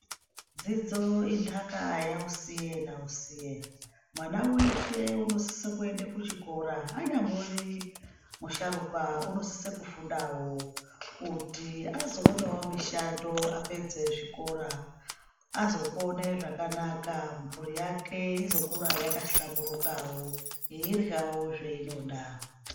Dzidzo intaka yausiye nausiye . Mwana weshe unosise kuenda kuchikora anyambori musharukwa unosise kufundawo kuti azoonawo mishando apedza zvikora azopone zvakanaka mburi yake izokura yakahlamburukawo yeiryawo zvainoda